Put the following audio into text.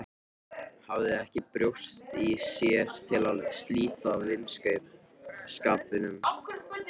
Hafði ekki brjóst í sér til að slíta vinskapnum.